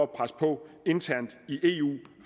presse på internt i eu